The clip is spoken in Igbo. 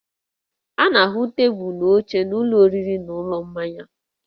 A na-ahụ tebụlụ na oche n'ụlọ oriri na ụlọ mmanya